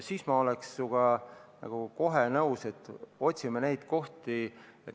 Siis ma oleks sinuga kohe nõus, et otsime neid kohti.